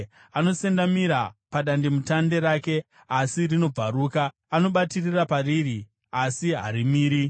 Anosendamira padandemutande rake, asi rinobvaruka; anobatirira pariri, asi harimiri.